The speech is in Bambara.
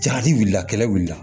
Jagaji wulila kɛlɛ wuli la